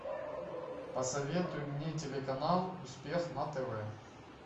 посоветуй мне телеканал успех на тв